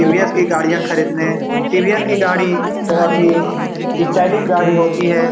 TVS. की गाड़ियाँ खरीदने टी.वी.एस. की गाड़ी बहोत ही स्टाइलिश गाड़ी होती है।